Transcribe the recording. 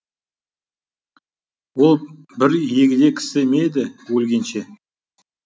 ол бір егде кісі ме еді өлгенше